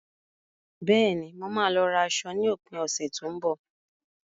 Bẹ́ẹ̀ni, mo máa lọ ra aṣọ ní òpin ọ̀sẹ̀ tó ń bọ̀.